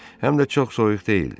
Həm də çox soyuq deyildi.